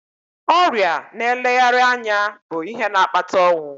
Ọrịa na-eleghara anya bụ ihe na-akpata ọnwụ.